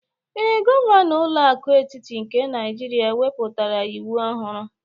Ee, gọvanọ ụlọ akụ etiti nke Naijiria wepụtara iwu ohuru.